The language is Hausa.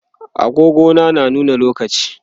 agogo na nuna lokaci